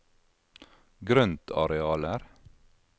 grøntarealer